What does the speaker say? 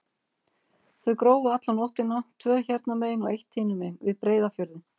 Þau grófu alla nóttina, tvö hérna megin og eitt hinum megin, við Breiðafjörðinn.